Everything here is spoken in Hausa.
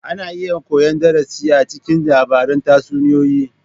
Ana iya koyan darasi a cikin labaran tatsuniyoyi.